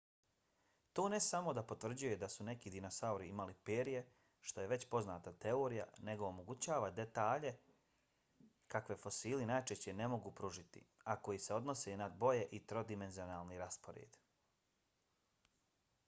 to ne samo da potvrđuje da su neki dinosauri imali perje što je već poznata teorija nego omogućava detalje kakve fosili najčešće ne mogu pružiti a koji se odnose na boje i trodimenzionalni raspored